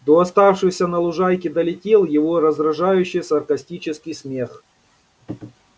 до оставшихся на лужайке долетел его раздражающе саркастический смех